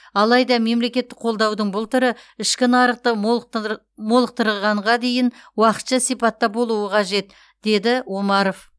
алайда мемлекеттік қолдаудың бұл түрі ішкі нарықты молықтырғанға дейін уақытша сипатта болуы қажет деді омаров